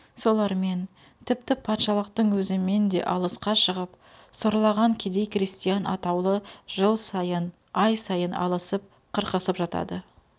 солармен тіпті патшалықтың өзімен де алысқа шығып сорлаған кедей крестьян атаулы жыл сайын ай сайын алысып қырқысып жатады